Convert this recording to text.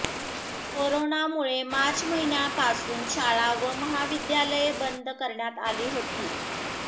कोरोनामुळे मार्च महिन्यांपासून शाळा व महाविद्यालये बंद करण्यात आली होती